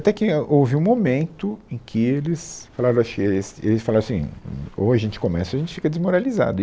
Até que é, houve um momento em que eles falaram acho que, eles eles falaram assim, ou a gente começa, ou a gente fica desmoralizado. E